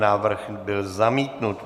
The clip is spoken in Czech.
Návrh byl zamítnut.